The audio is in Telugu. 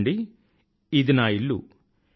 చూడండి ఇది నా ఇల్లు